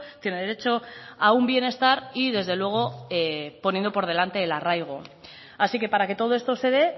tiene derecho a un bienestar y desde luego poniendo por delante el arraigo así que para que todo esto se dé